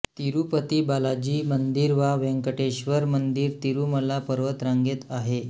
तिरुपती बालाजी मंदिर वा वेंकटेश्वर मंदिर तिरुमला पर्वतरांगेत आहे